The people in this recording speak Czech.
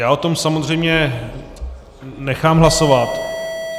Já o tom samozřejmě nechám hlasovat.